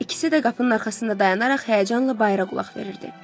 İkisi də qapının arxasında dayanaraq həyəcanla bayıra qulaq verirdi.